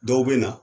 Dɔw bɛ na